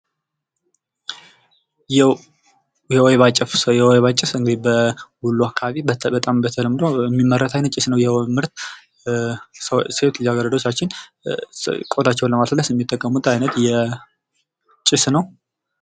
የውይባ ጭስ ፦ የወይባ ጭስ እንግድህ በወሎ አካባቢ በጣም በተለምዶ የሚመረት አይነት ጭስ ነው። ይህም ምርት ሴቶች ልጅ አገረዶቻችን ቆዳቸውን ላማለስለስ የሚጠቀሙት የጭስ ነው።